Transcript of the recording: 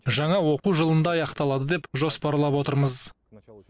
жаңа оқу жылында аяқталады деп жоспарлап отырмыз